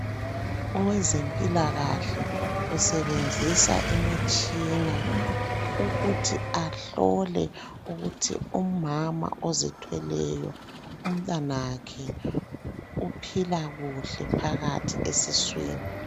Owezempilakahle usebenzisa imitshina ukuthi ahlole ukuthi umama ozithweleyo umntanakhe uphila kuhle phakathi esiswini.